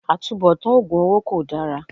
Àtubọ̀tán oògùn owó kol dára